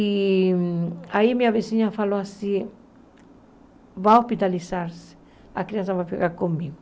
E aí minha vizinha falou assim, vai hospitalizar-se, a criança vai ficar comigo.